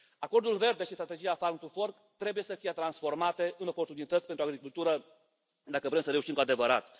Acordul verde și strategia Farm to Fork trebuie să fie transformate în oportunități pentru agricultură dacă vrem să reușim cu adevărat.